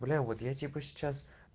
бля я вот типо сейчас